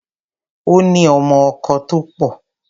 Ó ní ọmọ-ọkọ tó pọ̀.